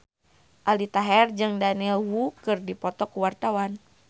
Aldi Taher jeung Daniel Wu keur dipoto ku wartawan